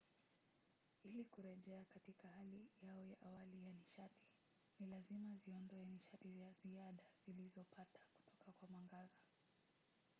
ili kurejea katika hali yao ya awali ya nishati ni lazima ziondoe nishati ya ziada zilizopata kutoka kwa mwangaza